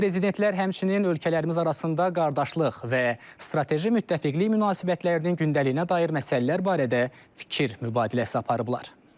Prezidentlər həmçinin ölkələrimiz arasında qardaşlıq və strateji müttəfiqlik münasibətlərinin gündəliyinə dair məsələlər barədə də fikir mübadiləsi aparıblar.